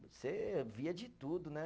Você via de tudo, né?